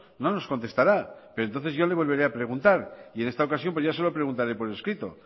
no nos contestará pero entonces yo le volveré a preguntar y en esta ocasión pues ya se lo preguntaré por escrito